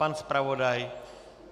Pan zpravodaj?